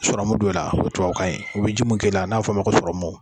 Sɔrɔmu don n na, o y tubabu kan ye , u bɛ ji mun k'i la n'a bɛ f'o ma ko sɔrɔmuw